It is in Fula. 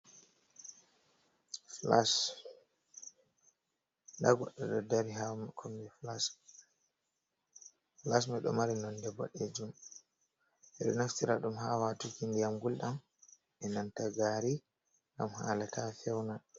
Flash nda goɗɗo ɗo dari ha kombi flash man ɗo mari nonde boɗejum, ɓedo naftira ɗum ha watuki ndiyam gulɗam e nanta gari ngam hala ta feuna.